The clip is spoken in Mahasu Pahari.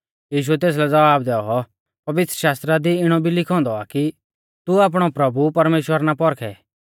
यीशुऐ तेसलै ज़वाब दैऔ पवित्रशास्त्रा दी इणौ भी आ लिखौ औन्दौ कि तू आपणौ प्रभु परमेश्‍वर ना पौरखै